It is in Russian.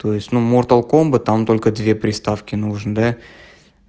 то есть молтер комба там только две приставки нужен да